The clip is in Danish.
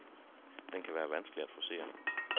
Den kan være vanskelig at forcere.